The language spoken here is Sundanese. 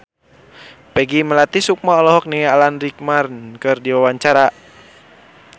Peggy Melati Sukma olohok ningali Alan Rickman keur diwawancara